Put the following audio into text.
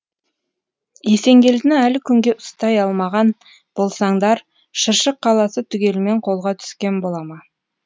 есенгелдіні әлі күнге ұстай алмаған болсаңдар шыршық қаласы түгелімен қолға түскен бола ма